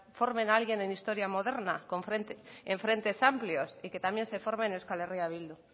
formen a alguien en historia moderna en frentes amplios y que también se forme en euskal herria bildu